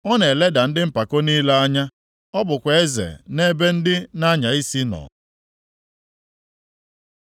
Ọ na-eleda ndị mpako niile anya. Ọ bụkwa eze nʼebe ndị na-anya isi nọ.”